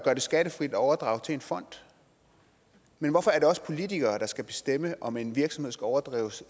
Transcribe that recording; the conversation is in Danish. skattefrit at overdrage til en fond men hvorfor er det os politikere der skal bestemme om en virksomhed skal overdrages